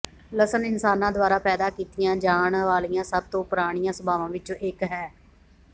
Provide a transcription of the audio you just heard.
ਲਸਣ ਇਨਸਾਨਾਂ ਦੁਆਰਾ ਪੈਦਾ ਕੀਤੀਆਂ ਜਾਣ ਵਾਲੀਆਂ ਸਭ ਤੋਂ ਪੁਰਾਣੀਆਂ ਸਭਾਵਾਂ ਵਿੱਚੋਂ ਇੱਕ ਹੈ